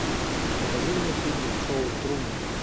покажи мне фильмик шоу трумана